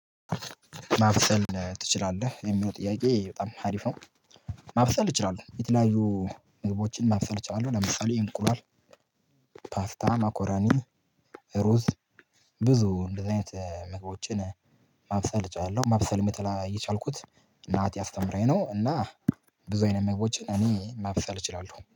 ማብሰል ትችላለህ የሚለው ጥያቄ በጣም ሀሪፍ ነው? ማብሰል እችላለሁ የተለያዩ ምግቦችን ማብሰል እችላለው። ለምሳሌ እንቁላል ፓስታ፣ መኮረኒ፣ ሩዝ ብዙ እንደዚህ አይነት መግባቦችን ማብሰል እችላለሁ። ማብሰልም የተላ የቻልኩት እናቴ አስተምራኝ ነው። እና ብዙ አይነት መግቦችን እኔ ማብሰል እችላለሁ